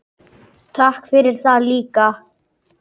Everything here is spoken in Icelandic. Takk fyrir það líka.